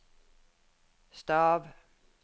stav